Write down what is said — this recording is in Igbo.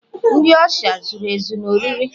ndi usha $ zuru ezu na oriri?